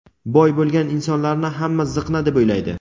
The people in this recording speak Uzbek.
boy bo‘lgan insonlarni hamma ziqna deb o‘ylaydi.